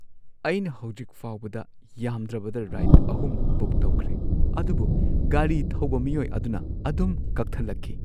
ꯑꯩꯅ ꯍꯧꯖꯤꯛ ꯐꯥꯎꯕꯗ ꯌꯥꯝꯗ꯭ꯔꯕꯗ ꯔꯥꯏꯗ ꯳ ꯕꯨꯛ ꯇꯧꯈ꯭ꯔꯦ, ꯑꯗꯨꯕꯨ ꯒꯥꯔꯤ ꯊꯧꯕ ꯃꯤꯑꯣꯏ ꯑꯗꯨꯅ ꯑꯗꯨꯝ ꯀꯛꯊꯠꯂꯛꯈꯤ꯫